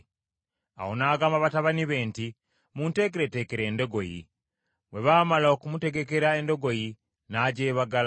Awo n’agamba batabani be nti, “Munteekereteekere endogoyi.” Bwe baamala okumutegekera endogoyi, n’agyebagala,